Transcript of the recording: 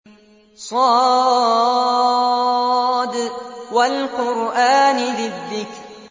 ص ۚ وَالْقُرْآنِ ذِي الذِّكْرِ